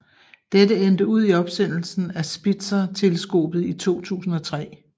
Dette endte ud i opsendelsen af Spitzerteleskopet i 2003